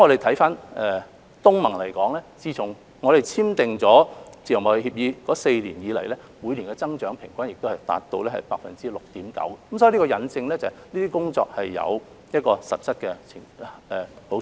就東盟而言，自從香港與之簽訂自由貿易協定的4年來，平均每年增長亦達 6.9%， 這引證了以上的工作帶來實質的好處。